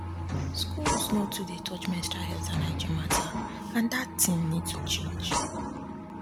schools no too dey touch menstrual health and hygiene matter and that thing need to change